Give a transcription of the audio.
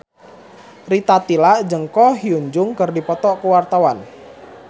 Rita Tila jeung Ko Hyun Jung keur dipoto ku wartawan